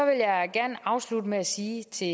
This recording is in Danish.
jeg gerne afslutte med at sige til